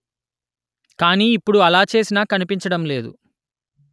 కానీ ఇప్పుడు అలా చేసినా కనిపించడం లేదు